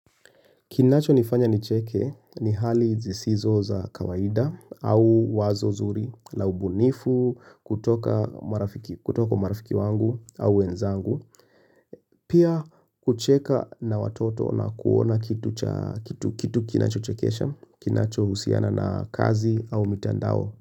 Kinacho nifanya nicheke ni hali zisizo za kawaida au wazo zuri, laubunifu, kutoka marafiki kutoka kwa marafiki wangu au wenzangu, pia kucheka na watoto na kuona kitu cha kitu kitu kinacho chekesha, kinacho usiana na kazi au mitandao.